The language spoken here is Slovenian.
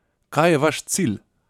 Kaj je vaš cilj?